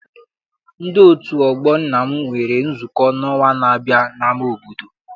Ndi otu ọgbọ nna m nwere nzukọ n'ọnwa n'abia n'ama obodo.